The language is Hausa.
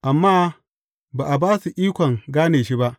Amma ba a ba su ikon gane shi ba.